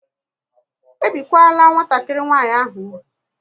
E bikwala nwatakịrị nwanyị ahụ úgwù!